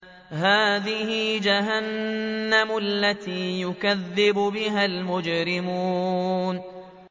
هَٰذِهِ جَهَنَّمُ الَّتِي يُكَذِّبُ بِهَا الْمُجْرِمُونَ